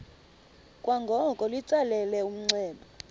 kwangoko litsalele umnxeba